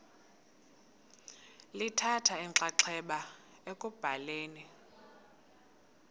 lithatha inxaxheba ekubhaleni